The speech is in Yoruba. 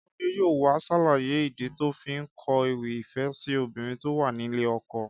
Kọ́ládé yóò wá ṣàlàyé ìdí tó fi kọ ewì ìfẹ́ sí obìnrin tó wà nílé ọkọ